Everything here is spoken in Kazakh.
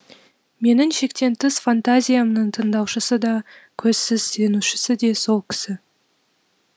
менің шектен тыс фантазиямның тыңдаушысы да көзсіз сенушісі де сол кісі